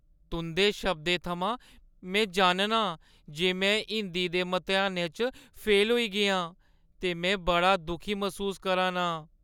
तुंʼदे शब्दें थमां, में जाननी आं जे में हिंदी दे मतेहानै च फेल होई गेई आं ते में बड़ा दुखी मसूस करा नां।